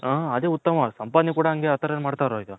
ಹು ಅದೇ ಉತ್ತಮ ಅನ್ಸುತ್ತೆ ಸಂಪಾದನೆ ಕೂಡ ಅದೇ ತರ ಮಾಡ್ತಾವ್ರೆ ಈಗ